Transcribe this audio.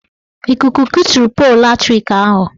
Ikuku kuturu polu latrik ahụ.